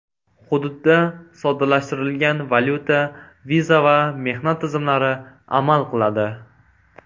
Hududda soddalashtirilgan valyuta, viza va mehnat tizimlari amal qiladi.